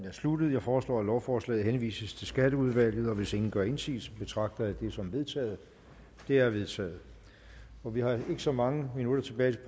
er sluttet jeg foreslår at lovforslaget henvises til skatteudvalget og hvis ingen gør indsigelse betragter jeg det som vedtaget det er vedtaget vi har ikke så mange minutter tilbage